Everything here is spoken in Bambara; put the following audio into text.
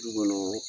Du kɔnɔ